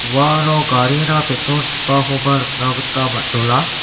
uano garina petrol chipakoba nikna gita man·jola.